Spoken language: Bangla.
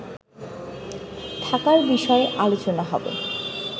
থাকার বিষয়ে আলোচনা হবে